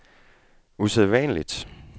usædvanligt